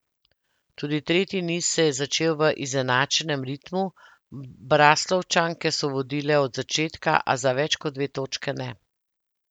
Tudi tretji niz se je začel v izenačenem ritmu, Braslovčanke so vodile od začetka, a za več kot dve točke ne.